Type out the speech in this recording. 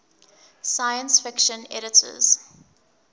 science fiction editors